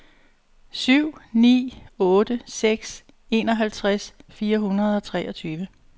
syv ni otte seks enoghalvtreds fire hundrede og treogtyve